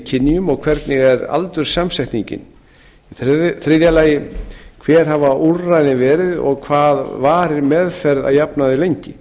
kynjum og hvernig er aldurssamsetningin þriðji hver hafa úrræðin verið og hvað varir meðferð að jafnaði lengi